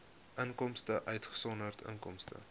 inkomste uitgesonderd inkomste